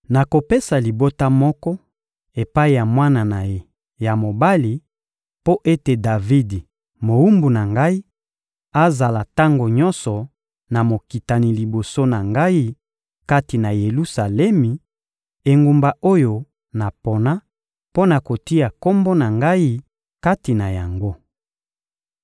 Nakopesa libota moko epai ya mwana na ye ya mobali mpo ete Davidi, mowumbu na Ngai, azala tango nyonso na mokitani liboso na Ngai kati na Yelusalemi, engumba oyo napona mpo na kotia Kombo na Ngai kati na yango.